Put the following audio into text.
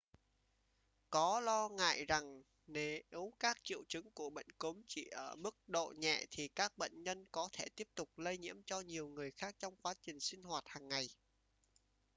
có lo ngại rằng nếu các triệu chứng của bệnh cúm chỉ ở mức độ nhẹ thì các bệnh nhân có thể tiếp tục lây nhiễm cho nhiều người khác trong quá trình sinh hoạt hàng ngày